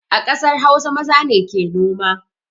A ƙasar hausa maza ne ke noma